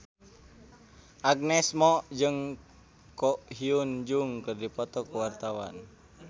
Agnes Mo jeung Ko Hyun Jung keur dipoto ku wartawan